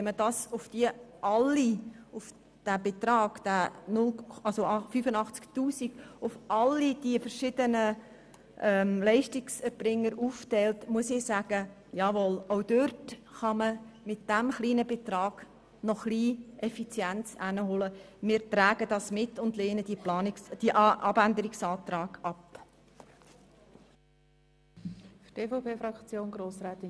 Wenn man den Sparbetrag von 85 000 Franken auf all diese verschiedenen Leistungserbringer aufteilt, bleibt nur noch ein kleiner Betrag pro Organisation übrig, der sich durch Effizienzsteigerungen einsparen lässt.